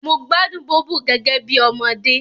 Mo gbádùn Bóbò gẹ́gẹ́ bí ọmọdé